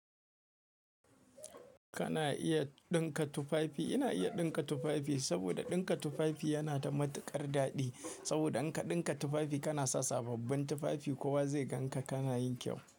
Kana iya ɗinka tufafi, ina iya ɗinka tufafi saboda ɗinka tufafi yana da matuƙar daɗi. Saboda in ka ɗinka tufafi kana sa sababbin tufafi, kowa zai gan ka, kana yin kyau.